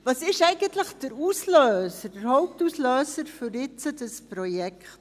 Was ist eigentlich der Auslöser, der Hauptauslöser für dieses Projekt?